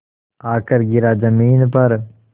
आकर गिरा ज़मीन पर